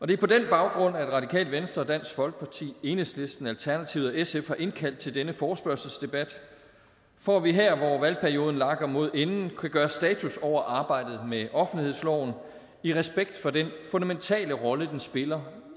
det er på den baggrund at radikale venstre dansk folkeparti enhedslisten alternativet og sf har indkaldt til denne forespørgselsdebat for at vi her hvor valgperioden lakker mod enden kan gøre status over arbejdet med offentlighedsloven i respekt for den fundamentale rolle den spiller